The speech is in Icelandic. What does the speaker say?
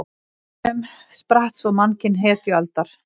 Af steinunum spratt svo mannkyn hetjualdar.